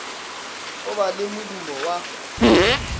go ba le modumo wa